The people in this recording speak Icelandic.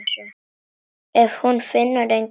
En hún finnur enga lykt.